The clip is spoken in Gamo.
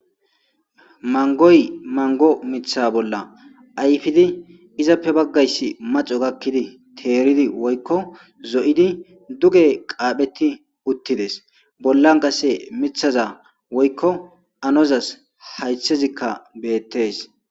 Manggoyi manggo miththa bolla ayiffidi izappe baggayisi maxxo gakkidi teridi woyikko zo'idi duge qapheti uttides bollan qase miththaza woyikko annozas hayithezika bettes.